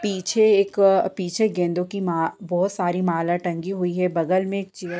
पीछे एक गेंदों की मा- माला बहुत सारी माला टंगी हुई है बगल में एक चेयर --